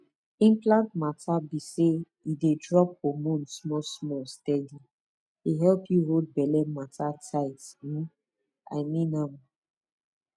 implant matter be say e dey drop hormone smallsmall steady e help you hold belle matter tight um i mean m